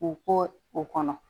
K'u ko o kɔnɔ